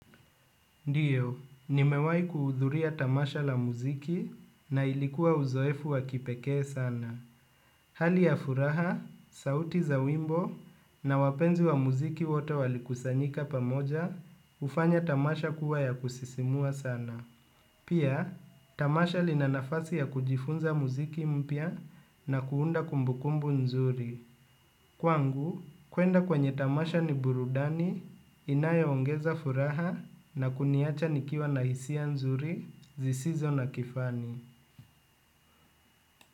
Ndiyo, nimewaikuudhuria tamasha la muziki na ilikuwa uzoefu wa kipekee sana. Hali ya furaha, sauti za wimbo na wapenzi wa muziki wote wali kusanyika pamoja, hufanya tamasha kuwa ya kusisimua sana. Pia, tamasha linanafasi ya kujifunza muziki mpya na kuunda kumbukumbu nzuri. Kwangu, kuenda kwenye tamasha ni burudani, inayo ongeza furaha na kuniacha nikiwa na hisia nzuri, zisizo na kifani.